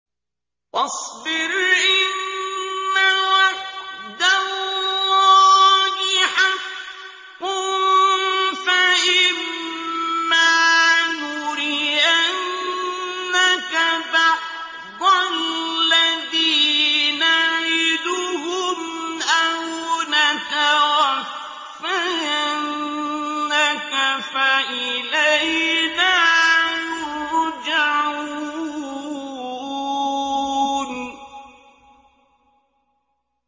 فَاصْبِرْ إِنَّ وَعْدَ اللَّهِ حَقٌّ ۚ فَإِمَّا نُرِيَنَّكَ بَعْضَ الَّذِي نَعِدُهُمْ أَوْ نَتَوَفَّيَنَّكَ فَإِلَيْنَا يُرْجَعُونَ